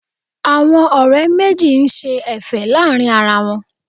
Àwọn ọ̀rẹ́ méjì ń ṣe Ẹ̀fẹ̀ láàrin ara wọn